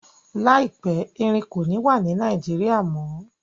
Laipẹ̀, Ẹrìn kò ní wà ní Nàìjíríà mọ.